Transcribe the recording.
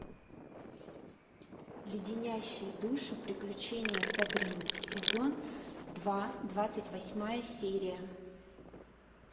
леденящие душу приключения сабрины сезон два двадцать восьмая серия